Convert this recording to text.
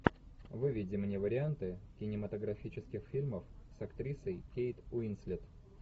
выведи мне варианты кинематографических фильмов с актрисой кейт уинслет